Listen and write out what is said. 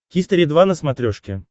хистори два на смотрешке